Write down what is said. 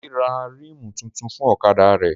Délé ra rímù tuntun fún ọ̀kadà rẹ̀